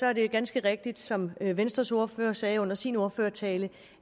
er det ganske rigtigt som venstres ordfører sagde under sin ordførertale